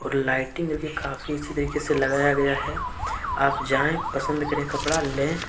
Lighting इसमें काफी अच्छे तरीके से लगाया गया है आप जाएं पसंद करें कपड़ा ले।